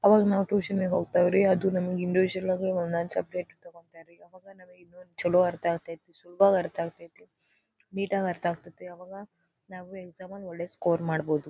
ಅವಾಗ ನಾವು ಟ್ಯೂಷನ್ ಗೆ ಹೋಗ್ತೇವ್ರಿ ಅದು ನಮಗ ನಮಗೆ ಇಂಡಿವಿಜುಯಲ್ ಆಗಿ ಒಂದೊಂದು ಸಬ್ಜೆಕ್ಟ್ ತಗೋತಾರೆ ಅವಾಗ ನಮಗೆ ಚಲೋ ಅರ್ಥ ಆಗ್ತದೆ ಸುಲಭವಾಗೇ ಅರ್ಥ ಆಗ್ತೈತೆ ನೀಟ್ ಆಗಿ ಅರ್ಥ ಆಗ್ತಾತೆ ಅವಾಗ ನಾವು ಎಕ್ಸಾಮ್ ದಲ್ಲಿ ಒಳ್ಳೆ ಸ್ಕೋರ್ ಮಾಡಬಹುದು.